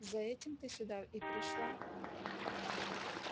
за этим ты сюда и пришла